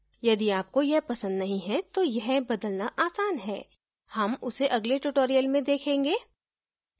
यदि आपको यह पसंद नहीं है तो यह बदलना आसान है हम उसे अगले tutorial में देखेंगे